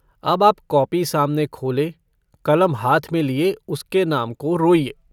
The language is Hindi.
अब आप कॉपी सामने खोले, कलम हाथ में लिए उसके नाम को रोइए।